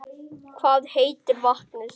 Hvað heitir vatnið?